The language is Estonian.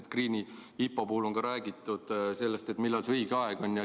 Enefit Greeni IPO puhul on räägitud sellest, millal see õige aeg on.